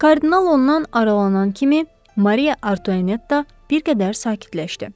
Kardinal ondan aralanan kimi, Mariya Antuanetta bir qədər sakitləşdi.